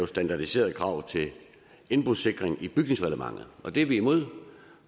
standardiserede krav til indbrudssikring i bygningsreglementet det er vi imod